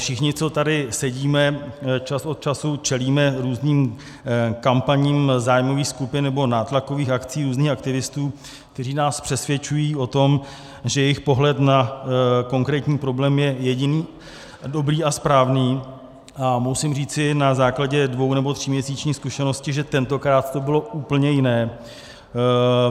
Všichni, co tady sedíme, čas od času čelíme různým kampaním zájmových skupin nebo nátlakových akcí různých aktivistů, kteří nás přesvědčují o tom, že jejich pohled na konkrétní problém je jediný dobrý a správný, a musím říci na základě dvou- nebo tříměsíční zkušenosti, že tentokrát to bylo úplně jiné.